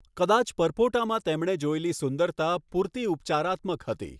કદાચ પરપોટામાં તેમણે જોયેલી સુંદરતા પૂરતી ઉપચારાત્મક હતી.